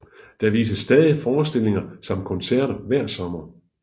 Der vises stadig forstillinger samt koncerter hver sommer